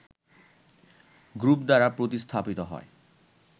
group দ্বারা প্রতিস্থাপিত হয়